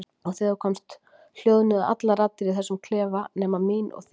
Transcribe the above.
Og þegar þú komst hljóðnuðu allar raddir í þessum klefa nema mín og þín.